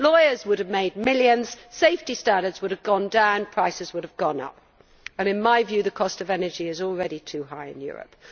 Lawyers would have made millions, safety standards would have gone down and prices would have gone up. In my view the cost of energy is already too high in Europe.